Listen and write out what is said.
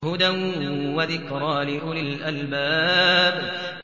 هُدًى وَذِكْرَىٰ لِأُولِي الْأَلْبَابِ